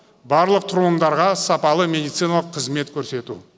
барлық тұрғындарға сапалы медициналық қызмет көрсету